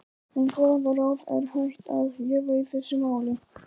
En hvaða ráð er hægt að gefa í þessu máli?